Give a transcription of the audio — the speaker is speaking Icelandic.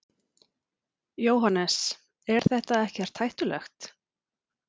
Jóhannes: Er þetta ekkert hættulegt?